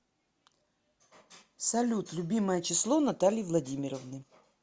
салют любимое число натальи владимировны